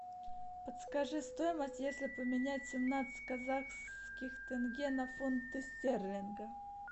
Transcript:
подскажи стоимость если поменять семнадцать казахских тенге на фунты стерлинги